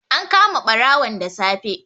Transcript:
An kama ɓarawon da safe.